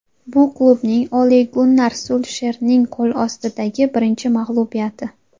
Bu klubning Ole-Gunnar Sulsherning qo‘l ostidagi birinchi mag‘lubiyati.